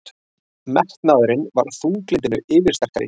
Metnaðurinn var þunglyndinu yfirsterkari.